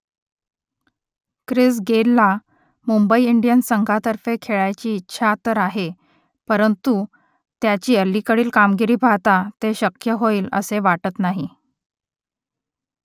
Chris गेलला Mumbai Indians संघातर्फे खेळायची इच्छा तर आहे परंतु त्याची अलीकडील कामगिरी पाहता ते शक्य होईल असे वाटत नाही